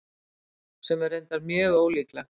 Sem er reyndar mjög ólíklegt.